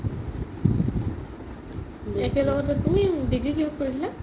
একেলগতে তুমি degree কিহত কৰিছিলা?